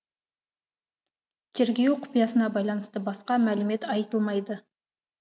тергеу құпиясына байланысты басқа мәлімет айтылмайды